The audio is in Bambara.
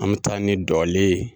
An bi taa ni dɔlen ye